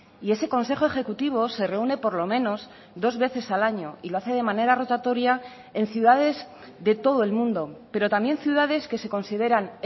y ese consejo ejecutivo se reúne por lo menos dos veces al año y lo hace de manera rotatoria en ciudades de todo el mundo pero también ciudades que se consideran